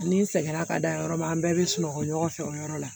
Ni n sɛgɛnna ka da yɔrɔ min an bɛɛ bɛ sunɔgɔ ɲɔgɔn fɛ o yɔrɔ la